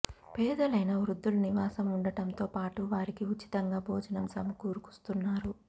పేదలైన వృద్ధులు నివాసం ఉండటంతో పాటు వారికి ఉచితంగా భోజనం సమకూరుస్తున్నారు